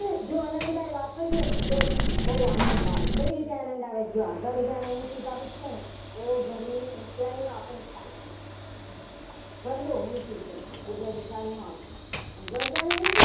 પણ જો અલંકાર વાપરીએ તો બહુ આનંદ આવે કઈ રીતે આનંદ આવે જો આ ઘર જાણે ઊંચું થતું હોય. ને તો ઘરની ઊંચાઈનો આપણને ખ્યાલ આવી જાય ઘર તો ઊંચું છે. એટલે થી ખ્યાલ ના આવે ઘર તો જાણે